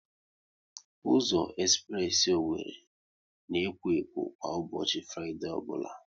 Ụzọ espress Owerri na ekwo ekwo kwa ụbọchị Fraịdee ọbụla